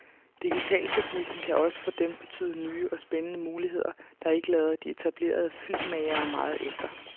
Digitalteknikken kan også for dem betyde nye og spændende muligheder, der ikke lader de etablerede filmmagere meget efter.